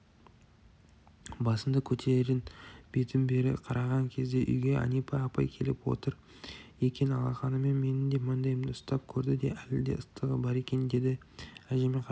басымды кетерін бетім бері қараған кезде үйге әнипа апай келіп отыр екен алақанымен менің маңдайымды ұстап көрді де әлі де ыстығы бар екен деді әжеме қарап